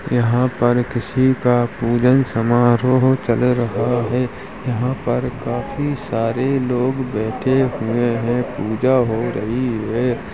यहाँ पर किसी का पूजन समाहरोह चल रहा है। यहाँ पर काफी सारे लोग बेठे हुए है पूजा हो रही है।